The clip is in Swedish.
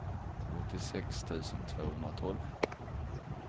åttiosex tusen tvåhundratolv